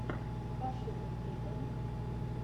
пошукай клипы